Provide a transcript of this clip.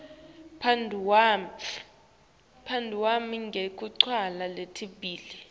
phendvula ngetincwadzi letimbili